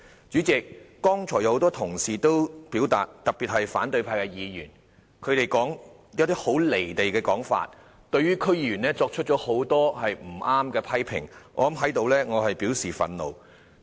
主席，剛才多位同事在發言中均提出很"離地"的說法，對區議員作出很多不正確的批評，我在此表示憤怒。